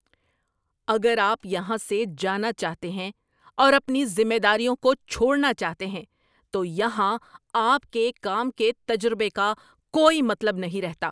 اگر آپ یہاں سے جانا چاہتے ہیں اور اپنی ذمہ داریوں کو چھوڑنا چاہتے ہیں تو یہاں آپ کے کام کے تجربے کا کوئی مطلب نہیں رہتا۔